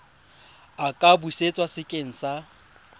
a ka busetswa sekeng sa